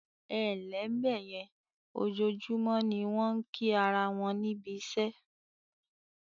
"Ẹǹlẹ́ bẹ̀yẹn", ojoojúmọ́ ni wọ́n ń kí ara won níbi iṣẹ́